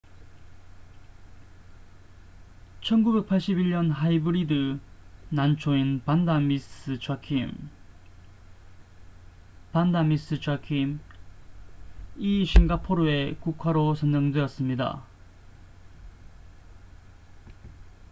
1981년 하이브리드 난초인 반다 미스 자큄vanda miss joaquim이 싱가포르의 국화로 선정되었습니다